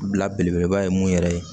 Bila belebeleba ye mun yɛrɛ ye